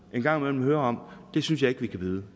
gang imellem hører om synes jeg ikke vi kan byde